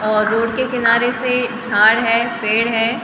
और रोड के किनारे से झाड़ है पेड़ है।